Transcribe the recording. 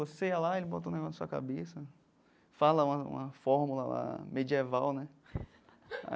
Você ia lá, ele bota o negócio na sua cabeça, fala uma uma fórmula lá medieval, né?